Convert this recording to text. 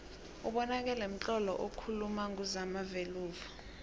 ubonakele mtlolo okuuluma nguzamagveluvo